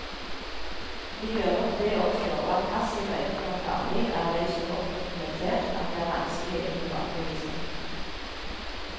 Vi gjør nok det også, og at passiv røyking er farlig, er vel så godt dokumentert at det er vanskelig å tilbakebevise.